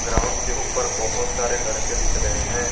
Ground के ऊपर बहुत सारे लड़के दिख रहे हैं।